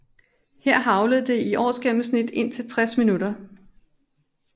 Her haglede det i årsgennemsnit indtil 60 minutter